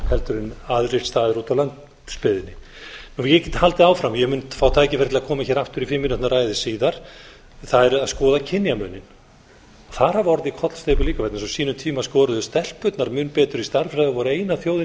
heldur en aðrir staðir úti á landsbyggðinni ég get haldið áfram ég mun fá tækifæri til að koma hér aftur í fimm mínútna ræðu síðar það er að skoða kynjamuninn þar hafa orðið kollsteypur líka vegna þess að á sínum tíma skoruðu stelpurnar mun betur í stærðfræði voru eina þjóðin